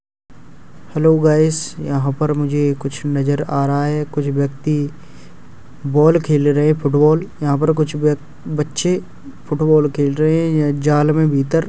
Hello guys यहां पर मुझे कुछ नजर आ रहा है कुछ व्यक्ति बॉल खेल रहे हैं फुटबॉल यहां पर कुछ ब-बच्चे फुटबॉल खेल रहे हैं। यह जाल में भीतर --